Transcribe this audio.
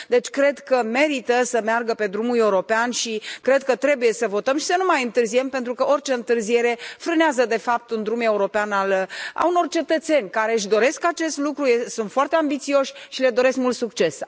Deci, cred că merită să meargă pe drumul european și cred că trebuie să votăm și să nu mai întârziem, pentru că orice întârziere frânează de fapt un drum european al unor cetățeni care își doresc acest lucru, sunt foarte ambițioși și le doresc mult succes.